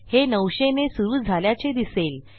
हे 900ने सुरू झाल्याचे दिसेल